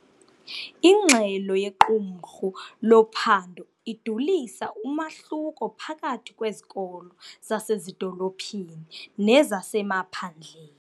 Ingxelo yequmrhu lophando idulisa umahluko phakathi kwezikolo zasezidolophini nezasemaphandle.